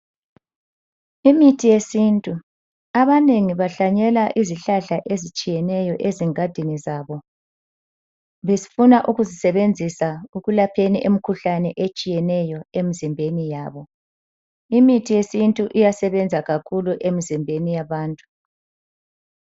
Imithi yesintu, abanengi bahlanyela izihlahla ezitshiyeneyo ezingadini zabo befuna ukuzisebenzisa ekulapheni imikhuhlane etshiyeneyo emizimbeni yabo. Imithi yesintu iyasebenza kakhulu emzimbeni yabantu.